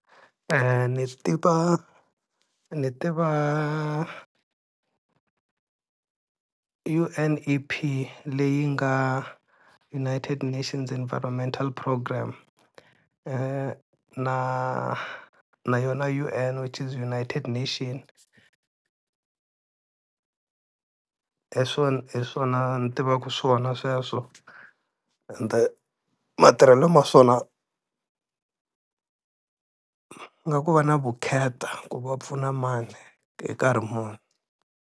Ni tiva ni tiva U_N_E_P leyi nga United Nations Environmental program, na na yona U_N which is United Nation hi swona hi swona ni tivaka swona sweswo, ende matirhelo ma swona nga ku va na vukheta ku va pfuna mani hi nkarhi muni.